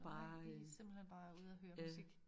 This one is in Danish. Nej i simpelthen bare ude og høre musik